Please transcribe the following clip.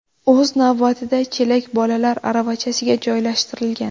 O‘z navbatida, chelak bolalar aravachasiga joylashtirilgan.